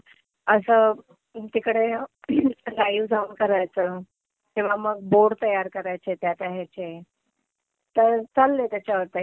असं तिकडे लाईव जाऊन करायचं किंवा मग बोर्ड तयार करायचे त्या त्या ह्याचे. तर चाललंय त्याच्यावर तयारी.